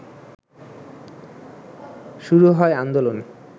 শুরু হয় আন্দোলন